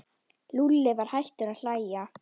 Lúlli var hættur að hlæja.